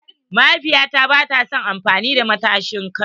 Mahaifiya ta bata son amfani da matashin kai.